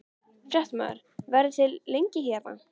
Fréttamaður: Verðið þið lengi hérna?